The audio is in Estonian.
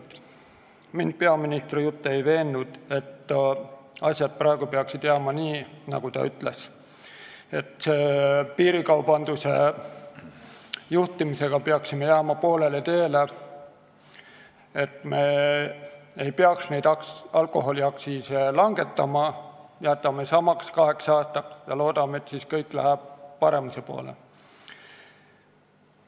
Mind ei veennud peaministri jutt, et asjad peaksid praegu jääma nii, nagu ta ütles, et piirikaubanduse ohjeldamisega peaksime jääma poolele teele, et me ei peaks alkoholiaktsiise langetama, jätma need kaheks aastaks samaks ja lootma, et siis läheb kõik paremuse poole.